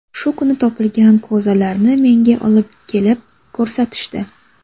Shu kuni topilgan ko‘zalarni menga olib kelib ko‘rsatishdi.